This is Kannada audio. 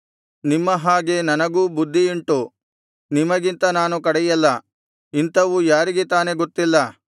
ನಿಮ್ಮ ಹಾಗೆ ನನಗೂ ಬುದ್ಧಿಯುಂಟು ನಿಮಗಿಂತ ನಾನು ಕಡೆಯಲ್ಲ ಇಂಥವು ಯಾರಿಗೆ ತಾನೇ ಗೊತ್ತಿಲ್ಲ